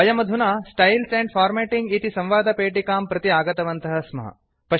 वयमधुना styles and formatting इति संवादपेटिकां प्रति आगतवन्तः स्मः